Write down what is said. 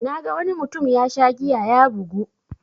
Naga wani mutum yasha giya ya bugu.